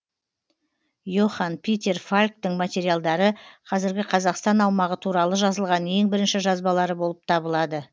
и охан питер фальктың материалдары қазіргі қазақстан аумағы туралы жазылған ең бірінші жазбалары болып табылады